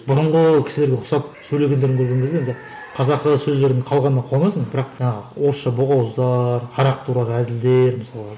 бұрынғы кісілерге ұқсап сөйлегендерін көрген кезде енді қазақы сөздердің қалғанына қуанасың бірақ жаңағы орысша боқауыздар арақ туралы әзілдер мысалға